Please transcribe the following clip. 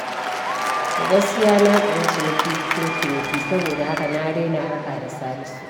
Gaskiya na tsani ciniki cikin ciniki, saboda haka na daina harka da Salisu.